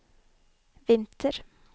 vinter